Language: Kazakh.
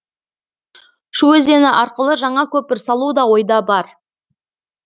шу өзені арқылы жаңа көпір салу да ойда бар